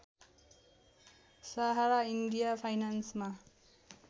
Sahara India फाइनान्समा